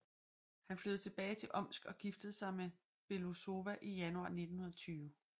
Han flyttede tilbage til Omsk og giftede sig med Belousova i januar 1920